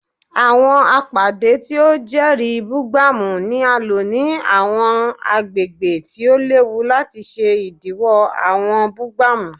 Awọn apade ti o jẹri bugbamu ni a lo ni awọn agbegbe ti o lewu lati ṣe idiwọ awọn bugbamu